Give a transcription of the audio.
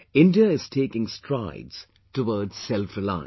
India is taking strides towards selfreliance